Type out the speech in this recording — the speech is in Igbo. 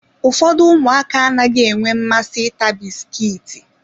Ụfọdụ ụmụaka anaghị enwe mmasị ịta bisikiiti.